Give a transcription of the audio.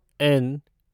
N